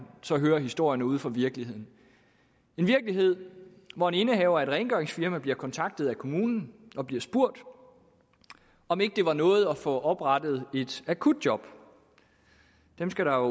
så hører historierne ude fra virkeligheden en virkelighed hvor en indehaver af et rengøringsfirma bliver kontaktet af kommunen og bliver spurgt om ikke det var noget at få oprettet et akutjob dem skal der